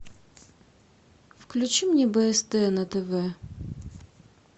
включи мне бст на тв